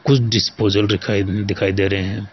कुछ डिस्पोजल रिखाई दिखाई दे रहे है।